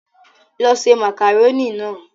Lọ ṣe màkàrónì náà!